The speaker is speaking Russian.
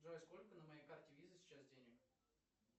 джой сколько на моей карте виза сейчас денег